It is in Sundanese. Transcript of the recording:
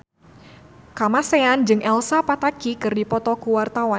Kamasean jeung Elsa Pataky keur dipoto ku wartawan